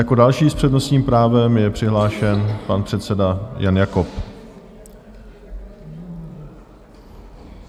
Jako další s přednostním právem je přihlášen pan předseda Jan Jakob.